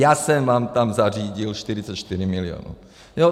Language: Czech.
Já jsem vám tam zařídil 44 milionů.